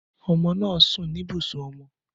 Ọmọ naa sun ni ibusun ọmọ